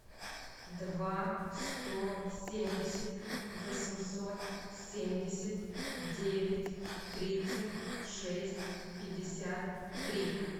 два сто семьдесят восемьсот семьдесят девять тридцать шесть пятьдесят три